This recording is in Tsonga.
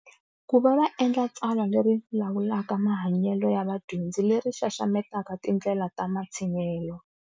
Ku va va endla tsalwa leri lawulaka mahanyelo ya vadyondzi leri xaxametaka tindlela ta matshinyelo.